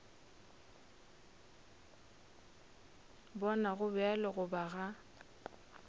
bona go bjalo goba ga